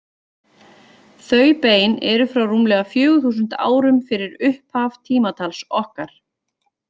Þau bein eru frá rúmlega fjögur þúsund árum fyrir upphaf tímatals okkar.